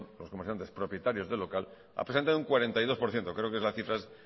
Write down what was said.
comerciantes propietarios del local han presentado un cuarenta y dos por ciento creo que la cifra es